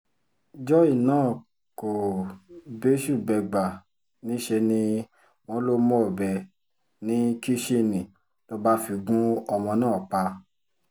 joy náà kò bẹ́sù-bẹ́gbà níṣẹ́ ni wọ́n lọ mú ọbẹ̀ ní kìsinni ló bá fi gún ọmọ náà pa